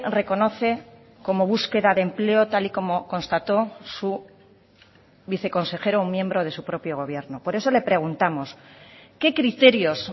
reconoce como búsqueda de empleo tal y como constató su viceconsejero un miembro de su propio gobierno por eso le preguntamos qué criterios